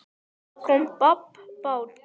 Það kom babb bátinn.